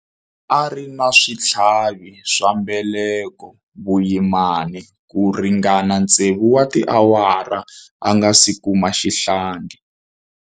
A ri na switlhavi swa mbeleko vuyimani ku ringana tsevu wa tiawara a nga si kuma xihlangi